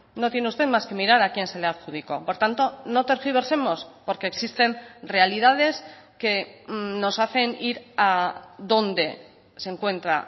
no tiene usted más que mirar a quien se le adjudicó por tanto no tergiversemos porque existen realidades que nos hacen ir a donde se encuentra